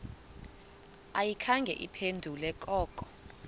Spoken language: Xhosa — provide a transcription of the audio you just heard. ayikhange iphendule koko